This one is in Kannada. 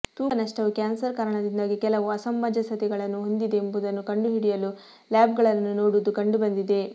ತೂಕ ನಷ್ಟವು ಕ್ಯಾನ್ಸರ್ ಕಾರಣದಿಂದಾಗಿ ಕೆಲವು ಅಸಮಂಜಸತೆಗಳನ್ನು ಹೊಂದಿದೆ ಎಂಬುದನ್ನು ಕಂಡುಹಿಡಿಯಲು ಲ್ಯಾಬ್ಗಳನ್ನು ನೋಡುವುದು ಕಂಡುಬಂದಿದೆ